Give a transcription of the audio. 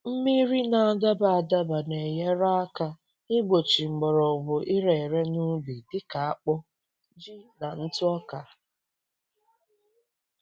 Mmiri na-adaba adaba na-enyere aka igbochi mgbọrọgwụ ire ere n’ubi dị ka akpụ, ji na ntụ ọka.